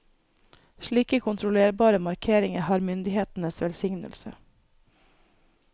Slike kontrollerbare markeringer har myndighetenes velsignelse.